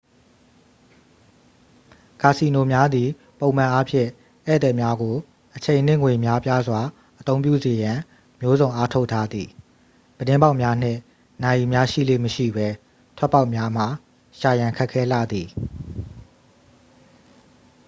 ကာစီနိုများသည်ပုံမှန်အားဖြင့် ဧည့်သည်များကို အချိန်နှင့်ငွေ များပြားစွာအသုံးပြုစေရန် မျိုးစုံအားထုတ်ထားသည် ပြတင်းပေါက်များနှင့် နာရီများရှိလေ့မရှိပဲ ထွက်ပေါက်များမှာ ရှာရန် ခက်ခဲလှသည်